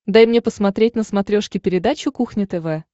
дай мне посмотреть на смотрешке передачу кухня тв